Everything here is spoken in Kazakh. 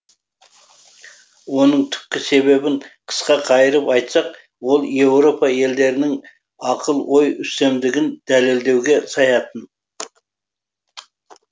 оның түпкі себебін қысқа қайырып айтсақ ол еуропа елдерінің акыл ой үстемдігін дәлелдеуге саятын